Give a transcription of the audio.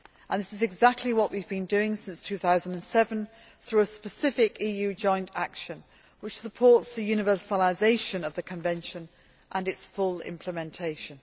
This is exactly what we have been doing since 2007 through a specific EU joint action that supports the universalisation of the convention and its full implementation.